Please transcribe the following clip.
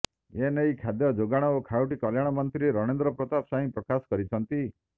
ଏନେଇ ଖାଦ୍ୟଯୋଗାଣ ଓ ଖାଉଟି କଲ୍ୟାଣ ମନ୍ତ୍ରୀ ରଣେନ୍ଦ୍ର ପ୍ରତାପ ସ୍ୱାଇଁ ପ୍ରକାଶ କରିଛନ୍ତି